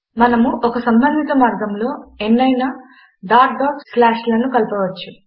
మనము ఒక సంబంధిత మార్గములో ఎన్నైనా narration dot dot separated by narration slash లను కలపవచ్చు